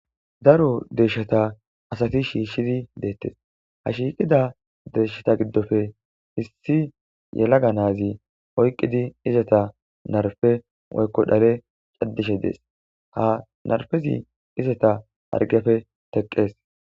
Daro deeshatha asathi shiishshizi deeththes; ha shiiqida deeshatha giddope issi yelaga naazi oyqqidi izatha narpe woykko dhale caddishe dees; ha narpezi izatha hargepe theqqees.